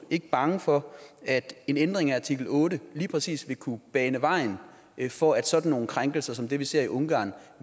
ikke bange for at en ændring af artikel otte lige præcis vil kunne bane vejen for at sådan nogle krænkelser som dem vi ser i ungarn